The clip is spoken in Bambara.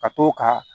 Ka t'o ka